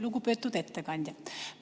Lugupeetud ettekandja!